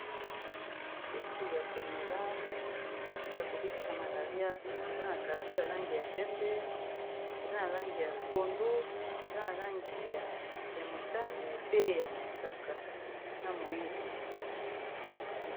kisi ya komela ya kobikisa malaria eza na carte ya langi ya pembe eza na langi ya pondu eza na langi ya motani pe ya mosaka na moindo